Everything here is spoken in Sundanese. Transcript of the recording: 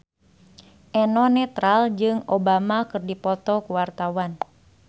Eno Netral jeung Obama keur dipoto ku wartawan